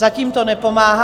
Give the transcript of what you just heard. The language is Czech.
Zatím to nepomáhá.